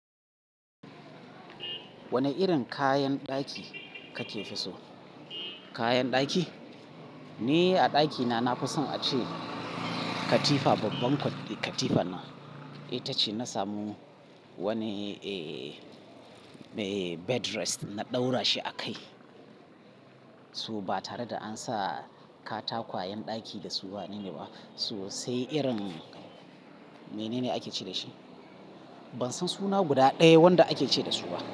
Wane irin kayan ɗaki kake fi so? Kayan ɗaki? Ni a ɗakina nafi son ace katifa babban katifa nan itace na samu wani ee, bed rest na ɗaura shi a kai. So batare da ansa ƙwataƙwayen ɗaki dasu wanene ba, so sai irin menene akece dashi? Ban san suna guda ɗaya wanda ake ce da su ba.